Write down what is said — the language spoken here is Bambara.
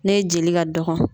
N'e jeli ka dɔgɔn